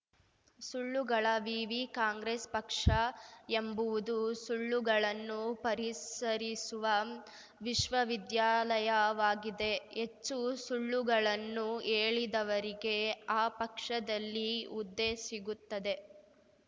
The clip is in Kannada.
ಸುಳ್ಳುಗಳ ವಿವಿ ಕಾಂಗ್ರೆಸ್‌ ಪಕ್ಷ ಎಂಬುವುದು ಸುಳ್ಳುಗಳನ್ನು ಪರಿಸರಿಸುವ ವಿಶ್ವವಿದ್ಯಾಲಯವಾಗಿದೆ ಹೆಚ್ಚು ಸುಳ್ಳುಗಳನ್ನು ಹೇಳಿದವರಿಗೆ ಆ ಪಕ್ಷದಲ್ಲಿ ಹುದ್ದೆ ಸಿಗುತ್ತದೆ